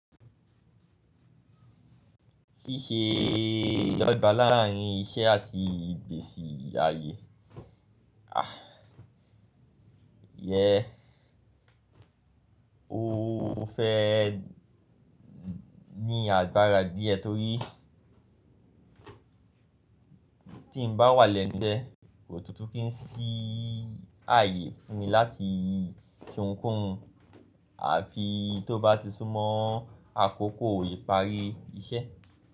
Ṣíṣe ìdogba láàrín iṣẹ́ àti ìgbésì ayé. Ah! Yé o fẹ́ ní àgbára díẹ̀ torí tí n bá wà lẹ́nu isé kò tún tún kí n sí ààyè fún mi láti sohunkohun, àfi tó bá ti sún mọ́ àkókò ìparí iṣẹ́.